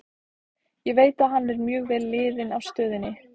Ég veit að hann er mjög vel liðinn á stöðinni.